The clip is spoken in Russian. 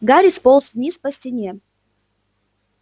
гарри сполз вниз по стене